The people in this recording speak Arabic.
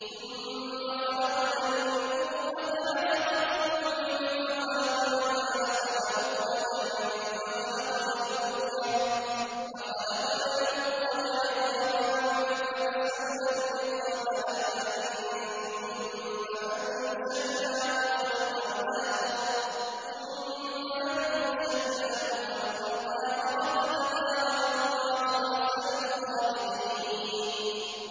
ثُمَّ خَلَقْنَا النُّطْفَةَ عَلَقَةً فَخَلَقْنَا الْعَلَقَةَ مُضْغَةً فَخَلَقْنَا الْمُضْغَةَ عِظَامًا فَكَسَوْنَا الْعِظَامَ لَحْمًا ثُمَّ أَنشَأْنَاهُ خَلْقًا آخَرَ ۚ فَتَبَارَكَ اللَّهُ أَحْسَنُ الْخَالِقِينَ